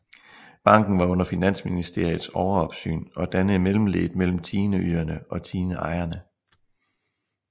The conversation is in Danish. Banken var under Finansministeriets overopsyn og dannede mellemleddet mellem tiendeyderne og tiendeejerne